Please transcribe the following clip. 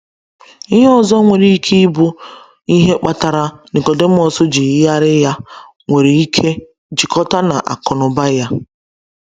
Ihe ọzọ nwere ike ịbụ ihe kpatara Nicodemus ji yigharị ya nwere ike jikọta na akụ na ụba ya.